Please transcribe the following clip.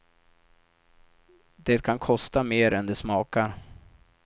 Det kan kosta mer än det smakar.